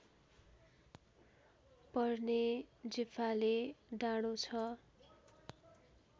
पर्ने जेफाले डाँडो छ